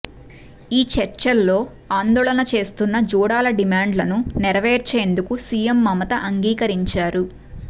ఈ చర్చల్లో ఆందోళన చేస్తున్న జూడాల డిమాండ్లను నెరవేర్చేందుకు సీఎం మమత అంగీకరించారు